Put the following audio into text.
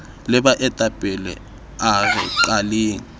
le baetapele a re qaleng